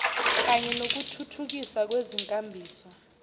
kanye nokuthuthukiswa kwezinkambiso